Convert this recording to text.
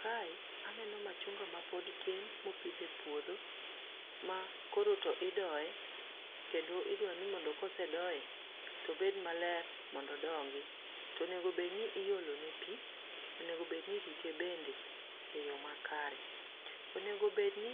Kae aneno machunga mapod tin mopidh e puodho. Ma koro to idoye, kendo idwaro ni mondo ka osedoye to obedo maler, mondo odongi. To onego bed iolone pi, onego bed ni irite bende eyo makare. Onego bedni